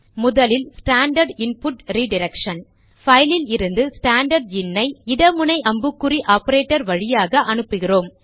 முதலில் standard input redirection பைலில் இருந்து ஸ்டாண்டர்ட் இன் ஐ இட முனை அம்புக்குறி ஆபரேட்டர் வழியாக அனுப்புகிறோம்